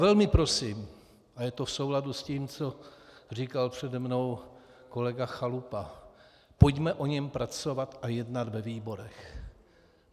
Velmi prosím, a je to v souladu s tím, co říkal přede mnou kolega Chalupa, pojďme na něm pracovat a jednat ve výborech.